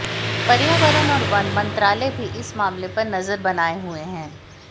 पर्यावरण और वन मंत्रालय भी इस मामले पर नजर बनाए हुए है